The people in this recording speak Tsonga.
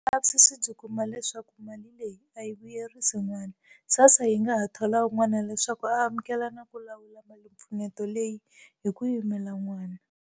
Loko vulavisisi byi kuma leswaku mali leyi a yi vuyerisi n'wana, SASSA yi nga ha thola un'wana leswaku a amukela na ku lawula malimpfuneto leyi hi ku yimela n'wana.